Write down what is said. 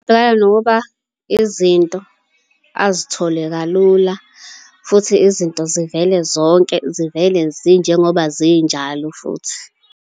Angabhekana nokuba izinto azithole kalula, futhi izinto zivele zonke, zivele zinjengoba zinjalo futhi.